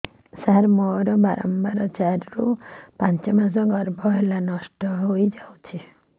ସାର ମୋର ବାରମ୍ବାର ଚାରି ରୁ ପାଞ୍ଚ ମାସ ଗର୍ଭ ହେଲେ ନଷ୍ଟ ହଇଯାଉଛି